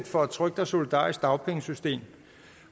for et trygt og solidarisk dagpengesystem